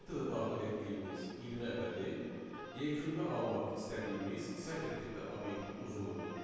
Metoda daxil etdiyimiz 20 ədədi yekunda almaq istədiyimiz sətr tipli obyektin uzunluğudur.